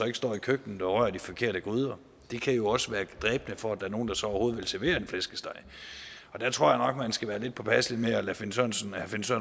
ikke står i køkkenet og rører i de forkerte gryder det kan jo også være dræbende for at der er nogen der så overhovedet vil servere en flæskesteg der tror jeg nok at man skal være lidt påpasselig med at lade herre finn sørensen